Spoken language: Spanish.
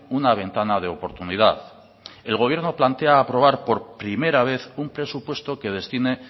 una ventana de oportunidad el gobierno plantea aprobar por primera vez un presupuesto que destine